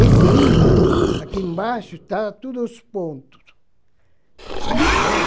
Esse imã, aqui embaixo, tem todos os pontos, né.